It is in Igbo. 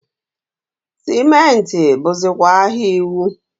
sịmentị bụzịkwa ahịa iwu.